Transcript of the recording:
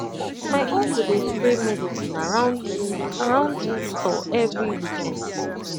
my uncle dey spray medicine around food around food store every weekend